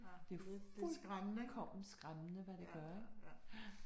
Det fuldkommen skræmmende, hvad det gør, ja